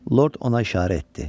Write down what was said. Lord ona işarə etdi.